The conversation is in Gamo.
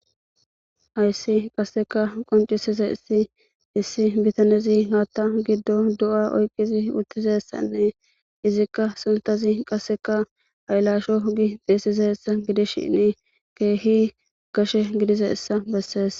Hayssi qasseka qoncisize issi issi bitanezi haatta giddo du'a oyqqizi uttizessanne izikka suntazi qasseka aylasho hogi deesize essa gidishinni keehi gashe gidiza issa bessees.